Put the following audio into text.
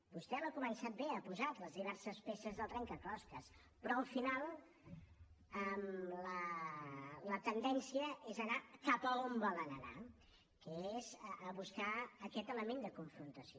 vostè l’ha començat bé ha posat les diverses peces del trencaclosques però al final la tendència és anar cap a on volen anar que és a buscar aquest element de confrontació